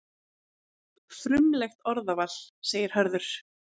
Frumlegt orðaval, segir Hörður.